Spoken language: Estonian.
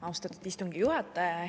Austatud istungi juhataja!